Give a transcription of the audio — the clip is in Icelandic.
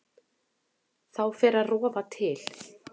Þá fer að rofa til.